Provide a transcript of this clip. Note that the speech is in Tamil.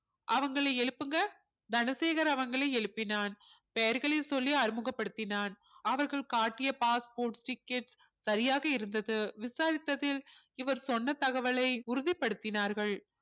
அவங்களை எழுப்புங்க தனசேகர் அவங்களை எழுப்பினான் பெயர்களை சொல்லி அறிமுகப்படுத்தினான் அவர்கள் காட்டிய passporttickets சரியாக இருந்தது விசாரித்ததில் இவர் சொன்ன தகவலை உறுதிப்படுத்தினார்கள்